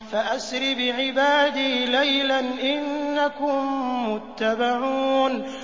فَأَسْرِ بِعِبَادِي لَيْلًا إِنَّكُم مُّتَّبَعُونَ